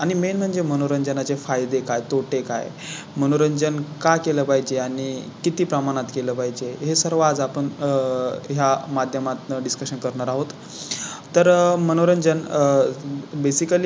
आणि Main म्हणजे मनोरंजना चे फायदे काय, तोटे काय, मनोरंजन का केला पाहिजे आणि किती प्रमाणात केलं पाहिजे हे सर्व आज आपण आह या माध्यमात Discussion करणार आहोत तर मनोरंजन आह Basically आह